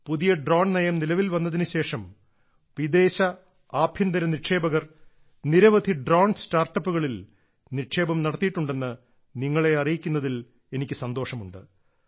പുതിയ ഡ്രോൺ നയം നിലവിൽ വന്നതിന് ശേഷം വിദേശ ആഭ്യന്തര നിക്ഷേപകർ നിരവധി ഡ്രോൺ സ്റ്റാർട്ടപ്പുകളിൽ നിക്ഷേപം നടത്തിയിട്ടുണ്ടെന്ന് നിങ്ങളെ അറിയിക്കുന്നതിൽ എനിക്ക് സന്തോഷമുണ്ട്